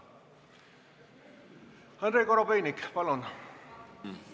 Andrei Korobeinik, palun!